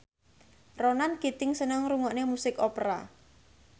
Ronan Keating seneng ngrungokne musik opera